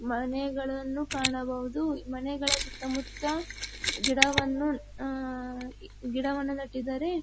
ಮನೆಗಳನ್ನು ಕಾಣಬಹುದು ಮನೆಗಳ ಸುತ್ತಮುತ್ತ ಗಿಡವನ್ನು ಅಹ್ ಗಿಡವನ್ನು ನೆಟ್ಟಿದ್ದಾರೆ.